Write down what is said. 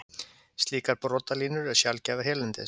Slíkar brotalínur eru sjaldgæfar hérlendis.